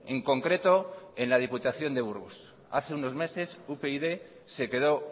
en concreto en la diputación de burgos hace unos meses upyd se quedó